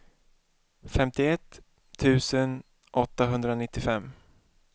femtioett tusen åttahundranittiofem